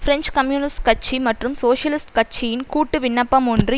French communist கட்சி மற்றும் socialist கட்சியின் கூட்டு விண்ணப்பம் ஒன்று